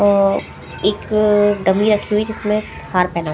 अ एक डमी रखी हुई जिसमें हार पहना --